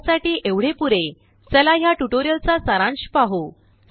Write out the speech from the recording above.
आतासाठी एवढे पुरेचला ह्याट्यूटोरियलचा सारांश पाहू